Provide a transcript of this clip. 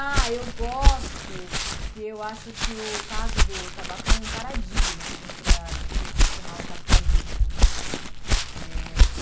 Ah, eu gosto porque eu acho que o caso do tabaco é um paradigma, assim, para a gente questionar o capitalismo. Eh